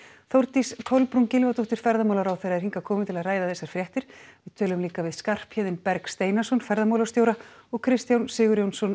Þórdís Kolbrún Gylfadóttir ferðamálaráðherra er hingað komin til að ræða þessar fréttir við tölum líka við Skarphéðinn Berg Steinarsson ferðamálastjóra og Kristján Sigurjónsson